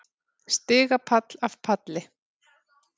Stigapall af palli.